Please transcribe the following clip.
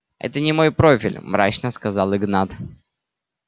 это не мой профиль мрачно сказал игнат